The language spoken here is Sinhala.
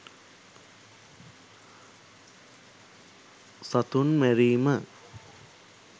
සතුන් මැරීම